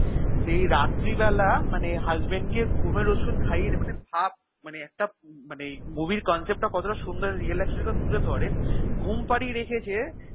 সেই রাত্রি বেলা মানে husband কে ঘুমের ওষুধ খাইয়ে মানে ভাব মানে একটা মানে movie এর concept টা কতটা সুন্দর আর real lifestory টা তুলে ধরে ঘুম পাড়িয়ে রেখেছে